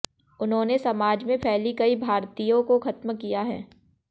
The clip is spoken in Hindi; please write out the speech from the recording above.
उन्होनें समाज में फैली कई भा्रतिंयो को खत्म किया है